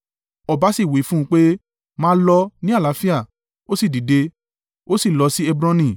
Ọba sì wí fún un pé, “Máa lọ ní àlàáfíà.” Ó sì dìde, ó sì lọ sí Hebroni.